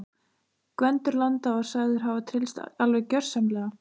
Gvendur landa var sagður hafa tryllst alveg gjörsamlega.